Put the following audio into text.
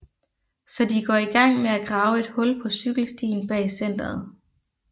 Så de går i gang med at grave et hul på cykelstien bag Centeret